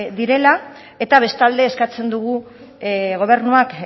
direla eta bestalde eskatzen dugu gobernuak